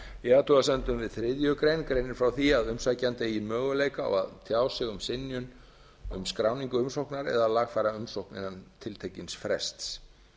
í athugasemdum við þriðju grein greinir frá því að umsækjandi eigi möguleika á að tjá sig um synjun um skráningu umsóknar eða lagfæra umsókn innan tiltekins frests